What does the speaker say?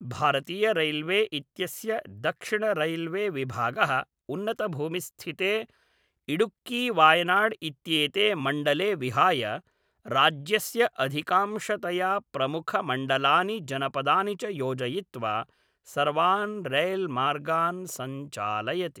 भारतीयरैल्वे इत्यस्य दक्षिणरैल्वेविभागः, उन्नतभूमिस्थिते इडुक्कीवायनाड् इत्येते मण्डले विहाय, राज्यस्य अधिकांशतया प्रमुखमण्डलानि जनपदानि च योजयित्वा, सर्वान् रैल्मार्गान् संचालयति।